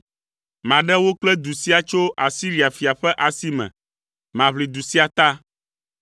Maɖe wò kple du sia tso Asiria fia ƒe asi me. Maʋli du sia ta.